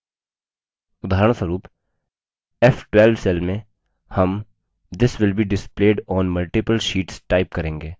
उदाहरणस्वरूप f12 cell में हम this will be displayed on multiple sheets type करेंगे